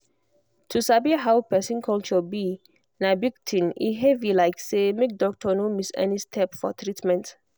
to sabi how person culture be na big thing e heavy like say make doctor no miss any step for treatment.